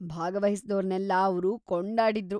ಭಾಗವಹಿಸ್ದೋರ್ನೆಲ್ಲ ಅವ್ರು ಕೊಂಡಾಡಿದ್ರು.